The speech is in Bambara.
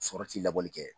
Sɔrɔ ti labɔli kɛ